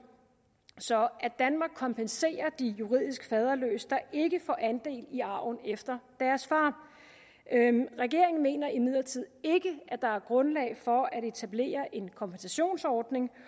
så at danmark kompenserer de juridisk faderløse der ikke får andel i arven efter deres far regeringen mener imidlertid ikke at der er grundlag for at etablere en kompensationsordning